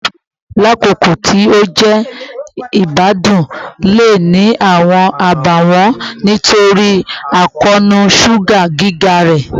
Suwiti, lakoko ti o jẹ igbadun, le ni awọn abawọn nitori akoonu suga giga rẹ